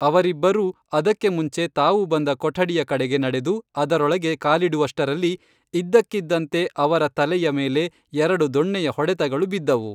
ಅವರಿಬ್ಬರೂ ಅದಕ್ಕೆ ಮುಂಚೆ ತಾವು ಬಂದ ಕೊಠಡಿಯ ಕಡೆಗೆ ನಡೆದು ಅದರೊಳಗೆ ಕಾಲಿಡುವಷ್ಟರಲ್ಲಿ ಇದ್ದಕ್ಕಿದ್ದಂತೆ ಅವರ ತಲೆಯ ಮೇಲೆ ಎರಡು ದೊಣ್ಣೆಯ ಹೊಡೆತಗಳು ಬಿದ್ದವು